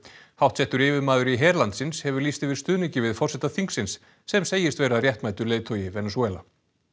háttsettur yfirmaður í her landsins hefur lýst yfir stuðningi við forseta þingsins sem segist vera réttmætur leiðtogi Venesúela